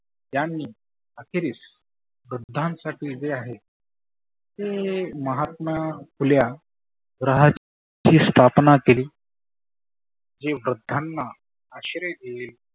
त्यांनी आखेरीस वृधांसाठी जे आहे की महात्मा फुल्या रहा ची स्थापना केली. जे वृद्धांना आश्रय देत